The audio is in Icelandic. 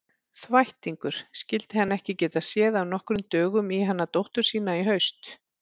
Þvættingur, skyldi hann ekki geta séð af nokkrum dögum í hana dóttur sína í haust.